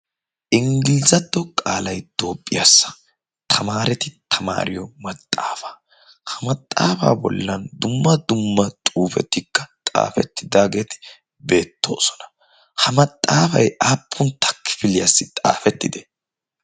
Inggilizato qaalay toophphiyaassa tamaareti tamaariyo maxaafa. Ha maxaafaa bollan dumma dumma xuufetikka xaafettidaageeti beettoosona. Ha maxaafay aappuntta kifiliyaassi xaafettide?